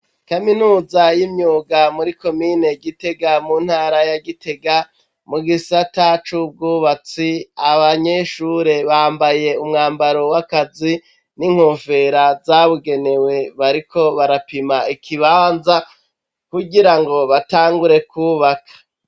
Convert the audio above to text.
Kaminuza y'imyuga muri komine Gitega mu ntara ya Gitega, mu gisata cubwubatsi, abanyeshure bambaye umwambaro w'akazi n'inkofera zabugenewe bariko barapima ikibanza kugira ngo batangure kubaka.